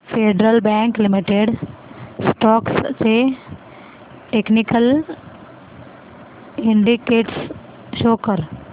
federal bank limited stocks चे technical indicators show कर